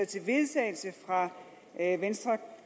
til vedtagelse fra venstre